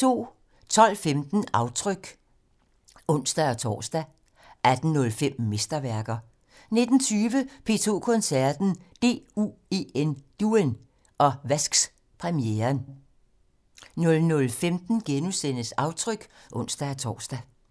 12:15: Aftryk (ons-tor) 18:05: Mesterværker 19:20: P2 Koncerten - DUEN og Vasks-premieren 00:15: Aftryk *(ons-tor)